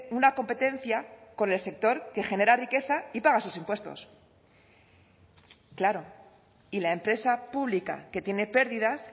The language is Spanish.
una competencia con el sector que genera riqueza y paga sus impuestos claro y la empresa pública que tiene pérdidas